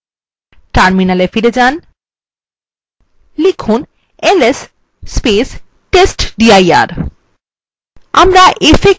terminal ফিরে যান এবং লিখুন ls testdir